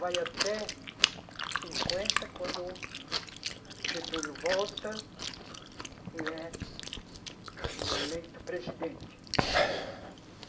Vai até cinquenta, quando o Getúlio volta e é eleito presidente.